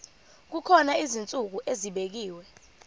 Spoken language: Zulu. kukhona izinsuku ezibekiwe